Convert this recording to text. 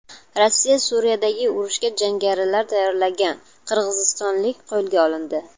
Rossiyada Suriyadagi urushga jangarilar tayyorlagan qirg‘izistonlik qo‘lga olindi.